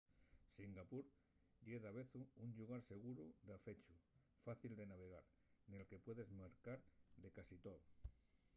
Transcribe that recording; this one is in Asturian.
singapur ye davezu un llugar seguru dafechu fácil de navegar nel que puedes mercar de casi too